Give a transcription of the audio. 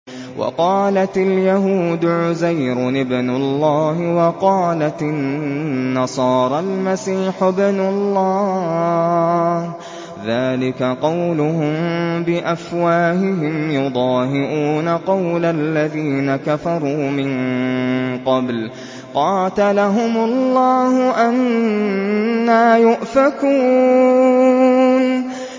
وَقَالَتِ الْيَهُودُ عُزَيْرٌ ابْنُ اللَّهِ وَقَالَتِ النَّصَارَى الْمَسِيحُ ابْنُ اللَّهِ ۖ ذَٰلِكَ قَوْلُهُم بِأَفْوَاهِهِمْ ۖ يُضَاهِئُونَ قَوْلَ الَّذِينَ كَفَرُوا مِن قَبْلُ ۚ قَاتَلَهُمُ اللَّهُ ۚ أَنَّىٰ يُؤْفَكُونَ